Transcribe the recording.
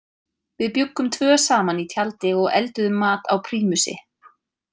Við bjuggum tvö saman í tjaldi og elduðum mat á prímusi.